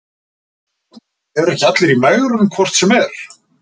Magnús: Eru ekki allir í megrun hvort sem er?